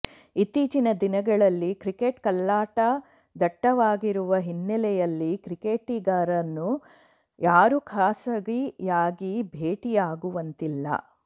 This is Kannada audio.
ಇತ್ತೀಚಿನ ದಿನಗಳಲ್ಲಿ ಕ್ರಿಕೆಟ್ ಕಳ್ಳಾಟ ದಟ್ಟವಾಗಿರುವ ಹಿನ್ನಲೆಯಲ್ಲಿ ಕ್ರಿಕೆಟಿಗರನ್ನು ಯಾರೂ ಖಾಸಗಿಯಾಗಿ ಭೇಟಿಯಾಗುವಂತಿಲ್ಲ